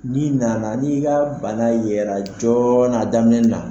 N'i nana n'i ka bana yɛrɛ joona a daminɛ na